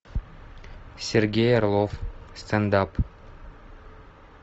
сергей орлов стендап